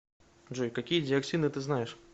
джой какие диоксины ты знаешь